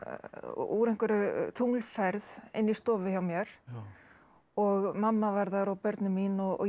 úr einhverri inni í stofu hjá mér og mamma var þar og börnin mín og ég